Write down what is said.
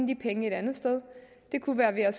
de penge et andet sted det kunne være ved at